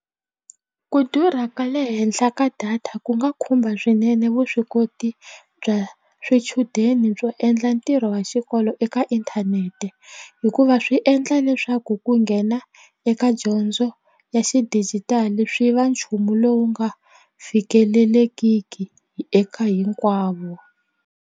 Ku durha ka le henhla ka data ku nga khumba swinene vuswikoti bya swichudeni byo endla ntirho wa xikolo eka inthanete hikuva swi endla leswaku ku nghena eka dyondzo ya xidijitali swi va nchumu lowu nga fikeleleki eka hinkwavo.